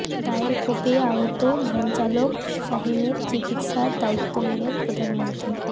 দায়ের কোপে আহত ভ্যানচালক শাহিনের চিকিৎসার দায়িত্ব নিলেন প্রধানমন্ত্রী